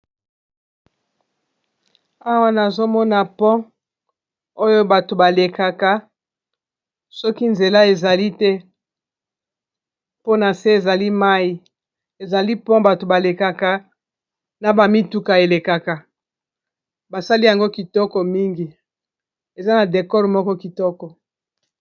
awa nazomona pont oyo bato balekaka soki nzela ezali te mpona se ezali mai ezali pont bato balekaka na bamituka elekaka basali yango kitoko mingi eza na decore moko kitoko